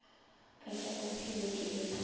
ka tšabophelo ke be ke